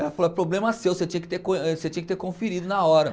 Ela falou, é problema seu, você tinha que ter conferido na hora.